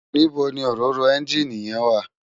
Nibó ni óróró ènjiní yèn wá?